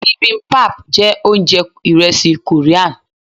bibimbap jẹ ounjẹ iresi Korean.